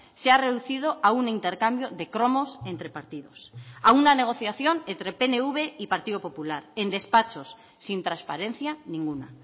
se ha reducido a un intercambio de cromos entre partidos a una negociación entre pnv y partido popular en despachos sin transparencia ninguna